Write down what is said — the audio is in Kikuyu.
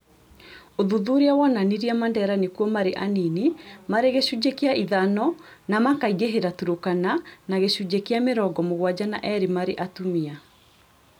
Ũthuthuria wonanirie mandera nĩkuo marĩ anini marĩ gĩcunjĩ kĩa ithano na makaingĩhĩra Turkana na gĩcunjĩ kĩa mĩrongo mũgwanja na eerĩ marĩ atumia